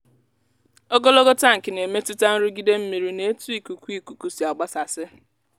ogologo tankị na-emetụta nrụgide mmiri na ètu ikuku ikuku si àgbásàsí